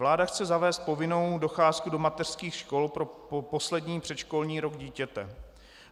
Vláda chce zavést povinnou docházku do mateřských škol pro poslední předškolní rok dítěte.